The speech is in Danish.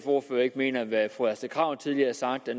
ordfører ikke mener at hvad fru astrid krag tidligere har sagt var